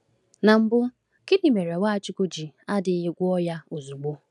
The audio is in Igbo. N’mbụ, gịnị mere Nwachukwu ji adịghị gwọọ ya ozugbo?